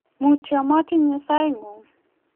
mutyo matinye sainyu